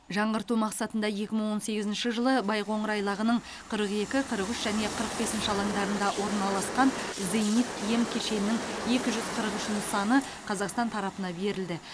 жаңғырту мақсатында екі мың он сегізінші жылы байқоңыр айлағының қырық екі қырық үш және қырық бесінші алаңдарында орналасқан зенит м кешенінің екі жүз қырық үш нысаны қазақстан тарапына берілді